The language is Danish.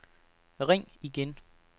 ring igen